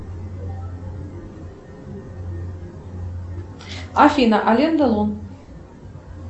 афина ален делон